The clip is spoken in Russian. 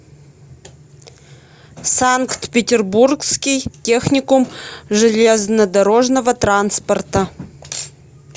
санкт петербургский техникум железнодорожного транспорта